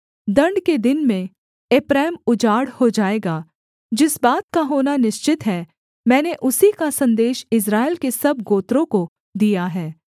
दण्ड के दिन में एप्रैम उजाड़ हो जाएगा जिस बात का होना निश्चित है मैंने उसी का सन्देश इस्राएल के सब गोत्रों को दिया है